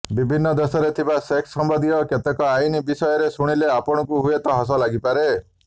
ବିଭିନ୍ନ ଦେଶରେ ଥିବା ସେକ୍ସ ସମ୍ବନ୍ଧୀୟ କେତେକ ଆଇନ୍ ବିଷୟରେ ଶୁଣିଲେ ଆପଣଙ୍କୁ ହୁଏତ ହସ ଲାଗିପାରେ